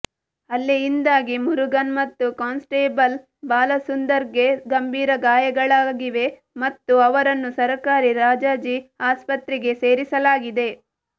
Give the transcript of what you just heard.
ಹಲ್ಲೆಯಿಂದಾಗಿ ಮುರುಗನ್ ಮತ್ತುಕಾನ್ಸ್ಟೇಬಲ್ ಬಾಲಸುಂದರ್ಗೆ ಗಂಭೀರಗಾಯಗಳಾಗಿವೆ ಮತ್ತು ಅವರನ್ನು ಸರಕಾರಿ ರಾಜಾಜಿ ಆಸ್ಪತ್ರೆಗೆ ಸೇರಿಲಾಗಿದೆ